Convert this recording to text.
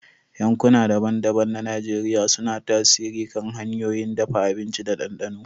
Yankuna daban-daban na Najeriya suna tasiri kan hanyoyin dafa abinci da dandano.